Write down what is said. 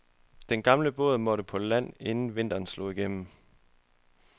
Den gamle båd måtte på land inden vinteren slog igennem.